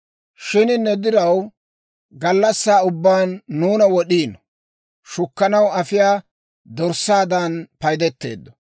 Shin ne diraw, gallassaa ubbaan nuuna wod'iino; shukkanaw afiyaa dorssaadan paydeteeddo.